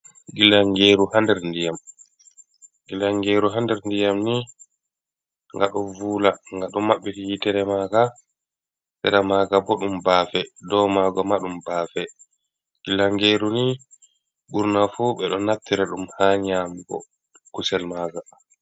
Gilangeru hander ndiyam, Gilangeru hander ni ga do vula, ga do mabbiti hi tere maga, sera maga bo dum bafe dow mago madum bafe, gillangeru ni burna fu be do naftira dum ha nyamugo kusel maga.